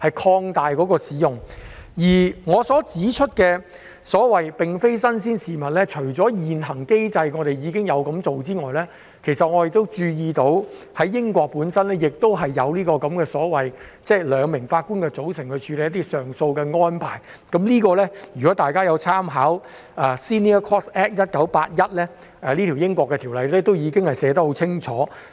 此外，我提出這安排"並非新鮮事物"，是因為除了現行機制已經有這樣做之外，我注意到，英國亦有這項兩名法官組成處理一些上訴案件的安排，大家可參考英國的 Senior Courts Act 1981， 該條例已經寫得很清楚。